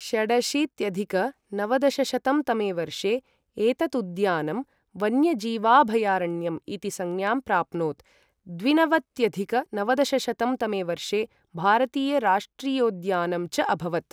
षडशीत्यधिक नवदशशतं तमे वर्षे एतत् उद्यानं वन्यजीवाभयारण्यम् इति संज्ञाम् प्राप्नोत्, द्विनवत्यधिक नवदशशतं तमे वर्षे भारतीयराष्ट्रीयोद्यानम् च अभवत्।